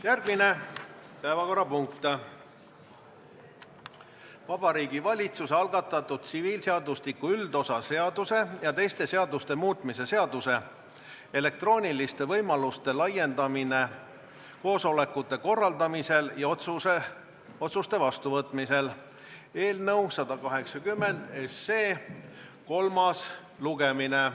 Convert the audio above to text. Järgmine päevakorrapunkt on Vabariigi Valitsuse algatatud tsiviilseadustiku üldosa seaduse ja teiste seaduste muutmise seaduse eelnõu 180 kolmas lugemine.